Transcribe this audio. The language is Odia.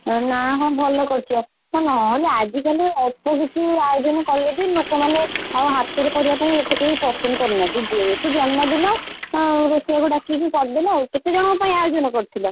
ଏଁ ନା ହଁ ଭଲ କରିଛ ନହେଲେ ଆଜିକାଲି ଅଳ୍ପ କିଛି ଆୟୋଜନ କଲେ ବି ଲୋକମାନେ ଆଉ ହାତରେ କରିବା ପାଇଁ ଏତେ କେହି ପସନ୍ଦ କରୁନାହାନ୍ତି ଯେହେତୁ ଜନ୍ମଦିନ ରୋଷେୟା କୁ ଡାକିକି କରିଦେଲ ଆଉ, କେତେ ଜଣକ ପାଇଁ ଆୟୋଜନ କରିଥିଲ?